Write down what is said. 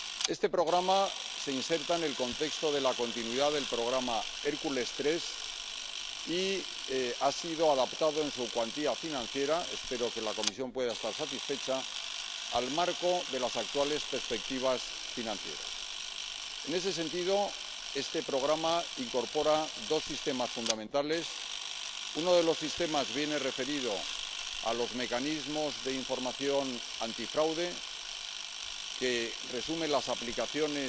Este Programa se inserta en el contexto de la continuidad del programa Hércules III y ha sido adaptado en su cuantía financiera —espero que la Comisión pueda estar satisfecha— al marco de las actuales perspectivas financieras. En ese sentido, este Programa incorpora dos sistemas fundamentales. Uno de los sistemas viene referido a los mecanismos de información antifraude, que resume las aplicaciones